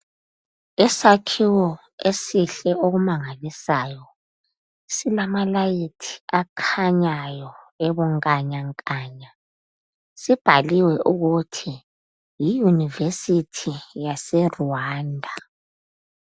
Isakhiwo esihle okumangalisayo silamalayithi akhanyayo ebunganyanganya sibhaliwe ukuthi yi yunivesithi yase Rwanda.